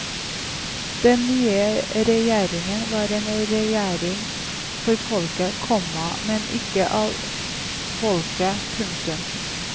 Den nye regjeringen var en regjering for folket, komma men ikke av folket. punktum